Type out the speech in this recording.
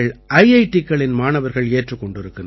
டிக்களின் மாணவர்கள் ஏற்றுக் கொண்டிருக்கிறார்கள்